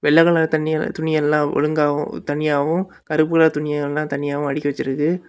வெள்ள கலர் தனிய துணி எல்லா ஒழுங்காவும் தனியாவும் கருப்பு கலர் துணி எல்லா தனியாவும் அடுக்கி வெச்சிருக்கு.